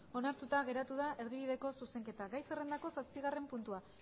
onartuta geratu da erdibideko zuzenketa gai zerrendako zazpigarren puntua